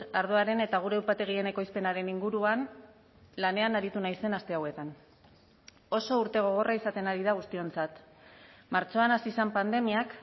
ardoaren eta gure upategien ekoizpenaren inguruan lanean aritu naizen aste hauetan oso urte gogorra izaten ari da guztiontzat martxoan hasi zen pandemiak